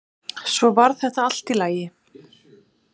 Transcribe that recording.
Svo varð þetta allt í lagi.